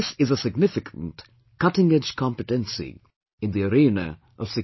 This is a significant, cutting edge competency in the arena of security